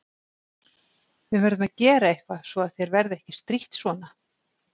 Við verðum að gera eitthvað svo að þér verði ekki strítt svona.